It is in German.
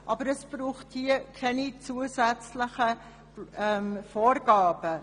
Dazu braucht es hier keine zusätzlichen Vorgaben.